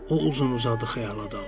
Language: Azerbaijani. O uzun-uzadı xəyala daldı.